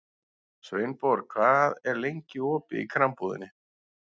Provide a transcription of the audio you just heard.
Sveinborg, hvað er lengi opið í Krambúðinni?